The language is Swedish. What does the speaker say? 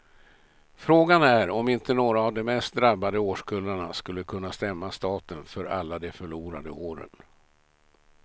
Frågan är om inte några av de mest drabbade årskullarna skulle kunna stämma staten för alla de förlorade åren.